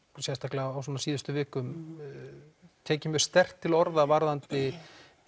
sérstaklega á síðustu vikum tekið mjög sterkt til orða varðandi